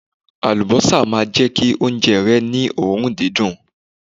Àlùbọ́sà máa jẹ́ kí oúnjẹ rẹ ni òórùn dídùn..